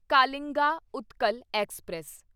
Kalinga Utkal express